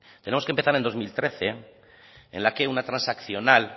tenemos que empezar el dos mil trece en la que una transaccional